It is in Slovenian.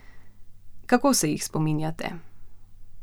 Kako se jih spominjate?